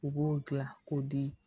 U b'o gilan k'o di